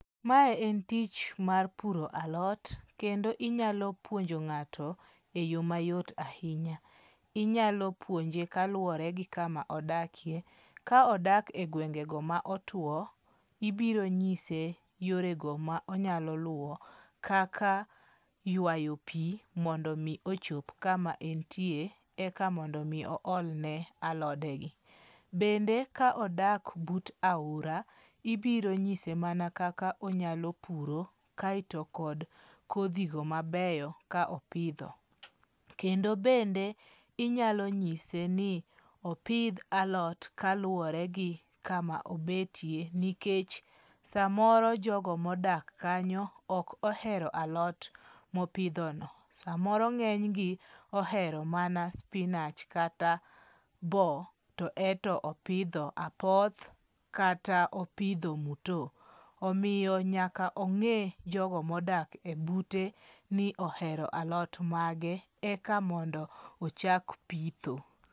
Mae en tich mar puro alot, kendo inyalo puonjo ng'ato e yo mayot ahinya. Inyalo puonje kaluwore gi kama odakie, ka odak e gwengego ma otwo, ibiro nyise yorego ma onyalo luwo kaka ywayo pi mondo mi ochop kama entie, eka mondo mi ool ne alodegi. Bende ka odak but aora, ibiro nyise mana kaka onyalo puro kaeto kod kodhigo mabeyo ka opidho. Kendo bende inyalo nyise ni opidh alot kaluwore gi kama obetie nikech samoro jogo modak kanyo ok ohero alot mopidhono. Samoro ng'eny gi ohero mana spinach kata bo to ento opidho apoth, kata opidho muto. Omiyo nyaka ong'e jogo modak ebute ni ohero alot mage, eka mondo ochak pitho.